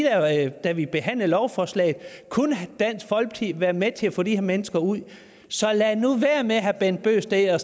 allerede da vi behandlede lovforslaget kunne dansk folkeparti have været med til at få de her mennesker ud så lad nu være med herre bent bøgsted at